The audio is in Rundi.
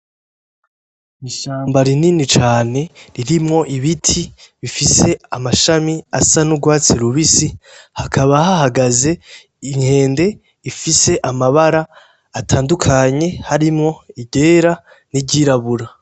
Ishamba rinini cane ririmwo ibiti bifise amashami asa n'urwatsi rubisi hakaba hahagaze inkende ifise amabara atandukanye harimwo iryera n'iryirabura.